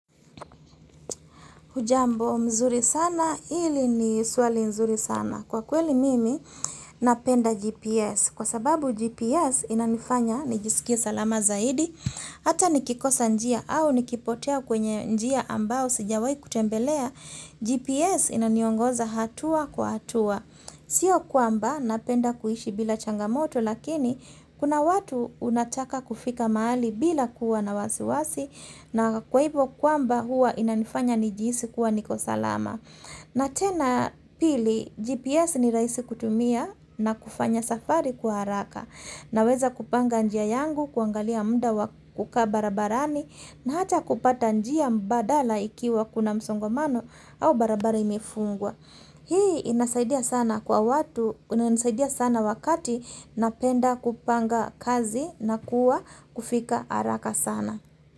Hujambo mzuri sana, hili ni suali mzuri sana. Kwa kweli mimi, napenda GPS. Kwa sababu GPS inanifanya, nijisikie salama zaidi, hata nikikosa njia au nikipotea kwenye njia ambao, sijawai kutembelea, GPS inaniongoza hatua kwa hatua. Sio kwamba napenda kuhishi bila changamoto lakini kuna watu unataka kufika mahali bila kuwa na wasi wasi na kwa hivo kwamba hua inanifanya nijihisi kuwa niko salama. Na tena pili GPS ni rahisi kutumia na kufanya safari kwa haraka naweza kupanga njia yangu kuangalia mda wa kukaa barabarani na hata kupata njia mbadala ikiwa kuna msongomano au barabara imefungwa. Hii inasaidia sana kwa watu, inasaidia sana wakati napenda kupanga kazi na kuwa kufika haraka sana.